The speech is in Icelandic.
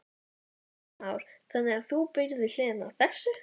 Kristján Már: Þannig að þú býrð við hliðina á þessu?